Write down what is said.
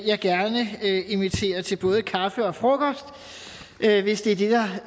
jeg gerne inviterer til både kaffe og frokost hvis det